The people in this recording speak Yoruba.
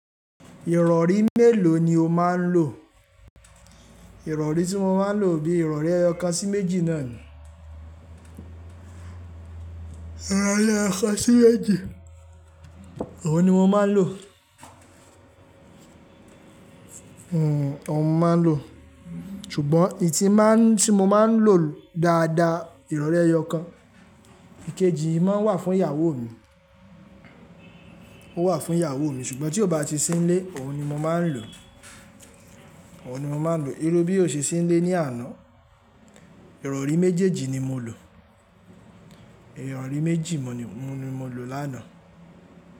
Ìrọ̀rí mélòó ni o máa ń lò? Ìrọ̀rí tí mo máa ń lò bíi ìrọ̀rí ẹyọ kan sí méjì náà ni. Ìrọ̀rí ẹyọ kan sí méjì, òun ni mo máa ń lò. Hmm òun mo máa ń lò. Ṣùgbọ́n èyí tí máa ń-- tí mo máa ń lò dáadáa, ìrọ̀rí ẹyọ kan. Ikeji máa ń wà fún ìyàwó mi. Ó wà fún ìyàwó mi, ṣùgbọ́n tí ó bá ti sí nílé, òun ni mo máa ń lò. Òun ni mo máa ń lò. Irú bí ó ṣe sí nílé ní àná, ìrọ̀rí méjèèjì ni mo lò. Ìrọ̀rí méjì mo ni-- mo ni mo lò lánàá.